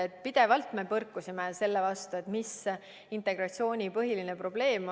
Me oleme pidevalt põrkunud selle vastu, mis on integratsiooni põhiline probleem.